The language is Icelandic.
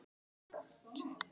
Lævi blandið loft.